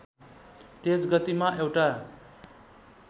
तेज गतिमा एउटा